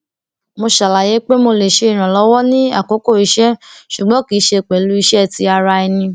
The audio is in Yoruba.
mo ṣàlàyé pé mo lè ṣe ìrànlọwọ ní àkókò iṣẹ ṣùgbọn kì í ṣe pẹlú iṣé ti ara ẹni